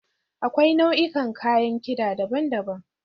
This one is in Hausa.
Akwai nau'ikan kayan kida daban-daban.